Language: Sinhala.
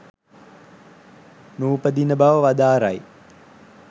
නූපදින බව වදාරයි.